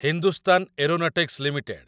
Hindustan aeronautics limited